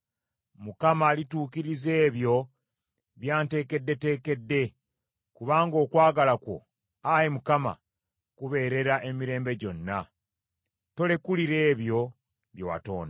Mukama alituukiriza ebyo by’anteekeddeteekedde; kubanga okwagala kwo, Ayi Mukama , kubeerera emirembe gyonna. Tolekulira ebyo bye watonda.